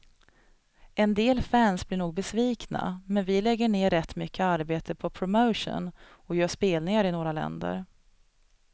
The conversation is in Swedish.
En del fans blir nog besvikna, men vi lägger ner rätt mycket arbete på promotion och gör spelningar i några länder.